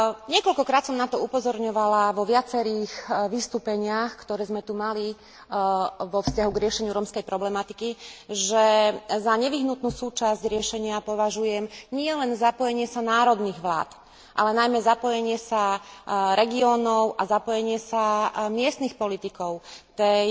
Niekoľkokrát som na to upozorňovala vo viacerých vystúpeniach, ktoré sme tu mali vo vzťahu k riešeniu rómskej problematiky, že za nevyhnutnú súčasť riešenia považujem nielen zapojenie sa národných vlád, ale najmä zapojenie sa regiónov a miestnych politikov tej